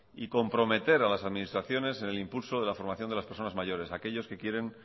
y comprometer a las administraciones en el impulso de la formación de las personas mayores aquellos que quieren